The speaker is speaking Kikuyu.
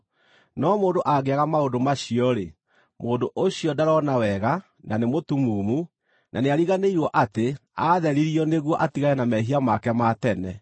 No mũndũ angĩaga maũndũ macio-rĩ, mũndũ ũcio ndarona wega na nĩ mũtumumu, na nĩariganĩirwo atĩ aatheririo nĩguo atigane na mehia make ma tene.